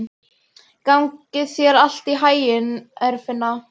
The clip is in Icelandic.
Gangi þér allt í haginn, Eirfinna.